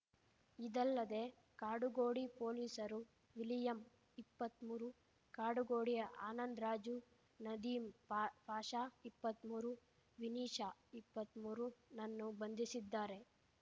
ಇದಲ್ಲದೆ ಕಾಡುಗೋಡಿ ಪೊಲೀಸರು ವಿಲಿಯಂ ಇಪ್ಪತ್ತ್ಮೂರು ಕಾಡುಗೋಡಿಯ ಆನಂದ್ ರಾಜು ನದೀಮ್ ಪಾಷಾ ಇಪ್ಪತ್ತ್ಮೂರು ವಿನೀಶ ಇಪ್ಪತ್ತ್ಮೂರುನನ್ನು ಬಂಧಿಸಿದ್ದಾರೆ